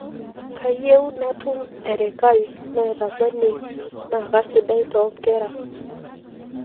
kayieu natum erikai naitakweni na kasidai too nkera